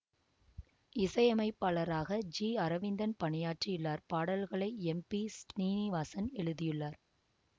இசையமைப்பாளராக ஜி அரவிந்தன் பணியாற்றியுள்ளார் பாடல்களை எம் பி ஸ்ரீநிவாசன் எழுதியுள்ளார்